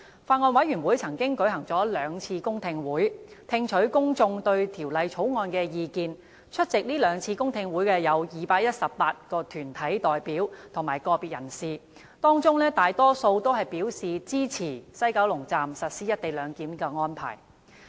法案委員會曾舉行兩次公聽會，聽取公眾對《條例草案》的意見，共有218名團體代表及個別人士出席，當中大多數表示支持西九龍站實施"一地兩檢"的安排。